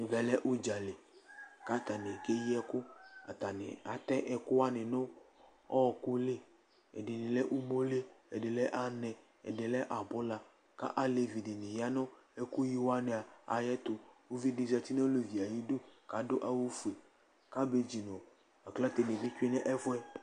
ɛvɛ lɛ udza li , ku ata ni keyi ɛku, ku ata ni atɛ ɛku wʋani nu ɔku li , ɛdini lɛ umoli, ɛdini lɛ anɛ, ɛdini lɛ abula, ku alevi dini ya nu ɛku yi wʋani ɛyɛtu , uvi di zati nu olevie ayidu ku adu awu fue, abidzo nu aklate tsʋe nu ɛfuɛ